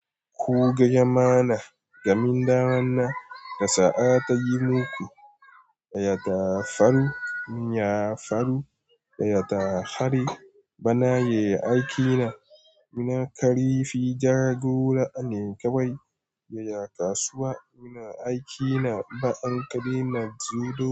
Ku gaya ma na, gamin dawan na kasa a tayi muku, baya da faru, in ya faru baya da hari. Bana yayi aiki na, muna kari fi ja gora, an yi kawai yaya kasuwa. Muna aiki na ba an kari na judo.